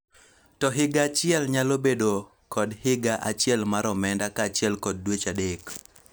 to higa achiel nyalo bedo kod higa achiel mar omenda kaachiel kod dweche adek